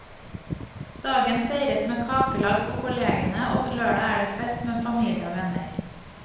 Dagen feires med kakelag for kollegene, og lørdag er det fest med familie og venner.